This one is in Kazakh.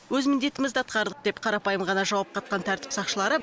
өз міндетімізді атқардық деп қарапайым ғана жауап қатқан тәртіп сақшылары